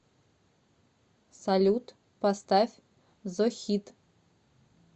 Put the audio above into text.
салют поставь зохид